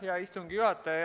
Hea istungi juhataja!